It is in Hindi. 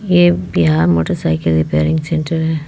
ये बिहार मोटरसाइकिल रिपेयरिंग सेंटर है।